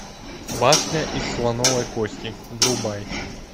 башня из слоновой кости врубай